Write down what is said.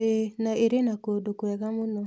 ĩĩ na ĩrĩ na kũndũ kwega mũno.